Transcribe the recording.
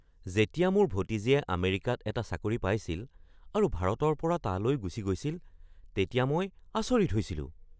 যেতিয়া মোৰ ভতিজীয়ে আমেৰিকাত এটা চাকৰি পাইছিল আৰু ভাৰতৰ পৰা তালৈ গুচি গৈছিল তেতিয়া মই আচৰিত হৈছিলোঁ।